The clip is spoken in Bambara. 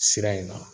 Sira in na